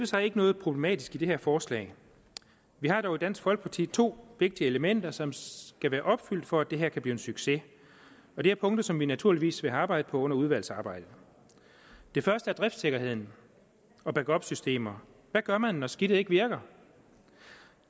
sig ikke noget problematisk i det her forslag vi har dog i dansk folkeparti to vigtige elementer som skal være opfyldt for at det her kan blive en succes og det er punkter som vi naturligvis vil arbejde på under udvalgsarbejdet det første er driftsikkerheden og backupsystemer hvad gør man når skidtet ikke virker